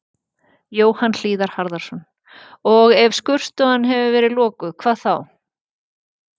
Jóhann Hlíðar Harðarson: Og ef skurðstofan hefði verið lokuð, hvað þá?